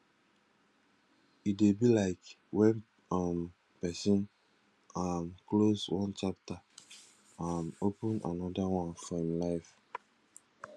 e dey be like when um person um close one chapter um open anoda one for im life